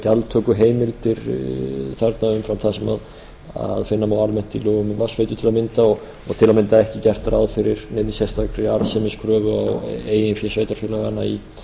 gjaldtökuheimildir þarna umfram það sem finna má almennt í lögum um vatnsveitur til að mynda og til að mynda ekki gert ráð fyrir neinni sérstakri arðsemiskröfu á eigin sveitarfélaganna í